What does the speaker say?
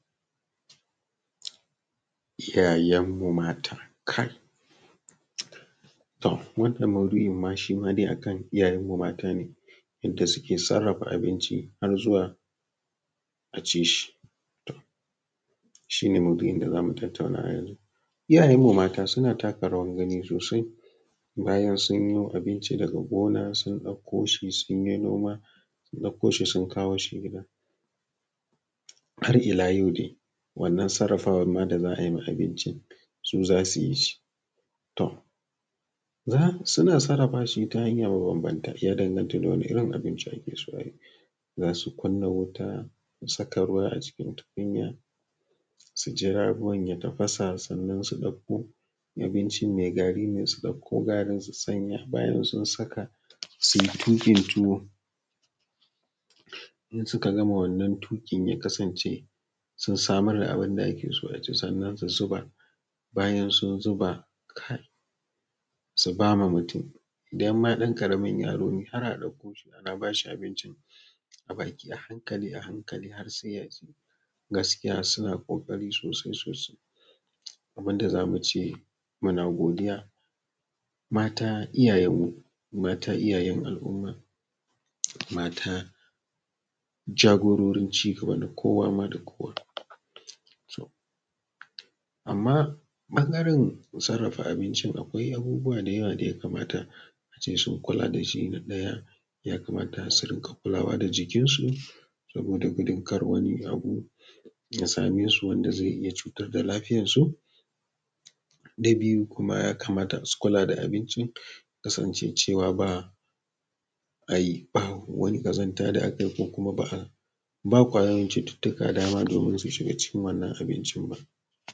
Iyayen mu mata kai, to wannan maudu’in ma shima dai akan iyayenmu mata ne yannda suke sarrafa abinci har zuwa aci shi, shi ne maudu’in da zamu tattauna yanzu. Iyayenmu mata suna taka rawan gani sosai, bayan sunyi abinci daga gona sun ɗako shi sun yi noma sun ɗako shi sun kawo shi gida, har ila yau dai wannan sarrafawa ma da za a yi ma abincin su zasu yi shi, to suna sarafa shi ta hanyar banbanta shi ya danganta da wani irin abinci ake so ayi zasu kuna wuta su saka ruwa a cikin tukunya su jira ruwan ya tafasa sannan su ɗako in abincin mai gari ne su ɗako garin su sanya bayan sun saka su, su yi tukin tuwo, idan suka gama wannan tukin ya kasance sun samar da abun da ake so a ci sannan su zuba, bayan sun zuba kai su ba ma mutum idan ma dan karamin yaro ne har a dakko shi ana bashi abincin a baki, a hankali a hankali har sai ya ci, gaskiya suna kokari sosai sosai abun da zamu ce muna godiya, mata iyayen mu mata iyayen al’umma mata jagororin cigaba kowa da kowa, toh amma ɓangaren sarrafa abinci akwai abubuwa da ya kamata ace sun kula da shi, na ɗaya ya kamata su rinka kulawa da jikin su saboda gudun kada wani abu ya same su wanda zai yi cutar da lafiyar su, na biyu kuma ya kamata su kula da abinci ya kasance cewa ba babu wani kazanta da aka yi ko kuma ba babu kwayan cututtuka dama domin su shiga wannan abincin ba.